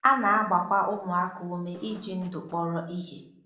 A na-agbakwa ụmụaka ume iji ndụ kpọrọ ihe.